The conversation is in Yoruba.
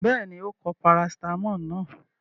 Bẹ́ẹ̀ni, ó pọ parasítámọ̀ náà.